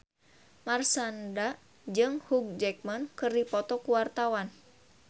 Marshanda jeung Hugh Jackman keur dipoto ku wartawan